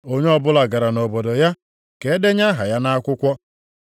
Onye ọbụla gara nʼobodo ya, ka e denye aha ya nʼakwụkwọ.